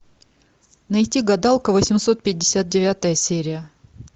найти гадалка восемьсот пятьдесят девятая серия